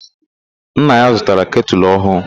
Nna ya zụtara ketụlụ ọhụụ..